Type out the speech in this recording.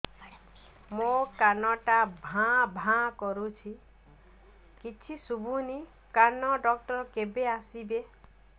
ମୋ କାନ ଟା ଭାଁ ଭାଁ କରୁଛି କିଛି ଶୁଭୁନି କାନ ଡକ୍ଟର କେବେ ଆସିବେ